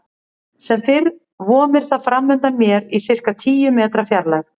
Sem fyrr vomir það framundan mér í sirka tíu metra fjarlægð.